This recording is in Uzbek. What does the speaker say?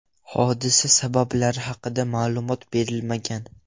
Hodisa sabablari haqida ma’lumot berilmagan.